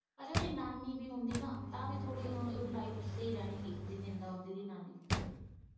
ਅਗਰ ਉਹਦੀ ਨਾਨੀ ਵੀ ਹੁੰਦੀ ਨਾ ਤਾਂ ਥੋੜ੍ਹੀ ਉਹਦੀ ਲਾਇਫ਼ ਸਹੀ ਰਹਿਣੀ ਸੀ ਜੇ ਜਿੰਦਾ ਹੁੰਦੀ ਨਾਨੀ।